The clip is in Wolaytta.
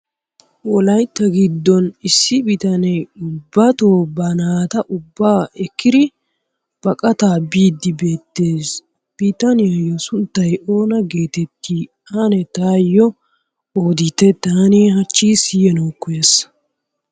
Wolayitta giddon issi bitanee ubbato ba naata ubbaa ekkidi baqataa biiddi beettes. Bitanyayyo sunttay oona geetetti? Ane taayyo odite taani hachchi siyanawu koyyaas.